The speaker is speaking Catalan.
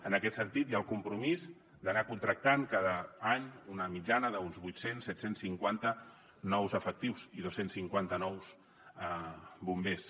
en aquest sentit hi ha el compromís d’anar contractant cada any una mitjana d’uns vuit cents set cents i cinquanta nous efectius i dos cents i cinquanta nous bombers